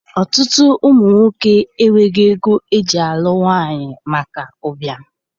Ọtụtụ ụmụ nwoke enweghị ego eji alụ nwaanyị maka ụbịam.